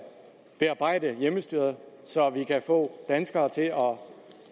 bearbejde hjemmestyret så vi kan få danskere til at